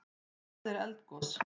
Hvað er eldgos?